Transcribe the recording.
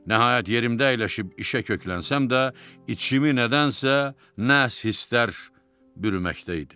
Nəhayət, yerimdə əyləşib işə köklənsəm də, içimi nədənsə, nəs hisslər bürüməkdə idi.